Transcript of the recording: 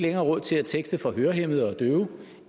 havde råd til at tekste for hørehæmmede og døve